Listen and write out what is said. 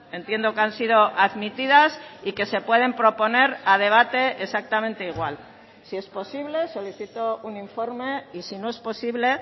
entiendo que han sido admitidas y que se pueden proponer a debate exactamente igual si es posible solicito un informe y si no es posible